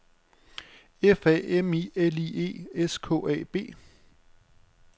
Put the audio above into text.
F A M I L I E S K A B